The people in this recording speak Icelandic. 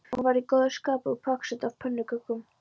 Hún var í góðu skapi og pakksödd af pönnukökum.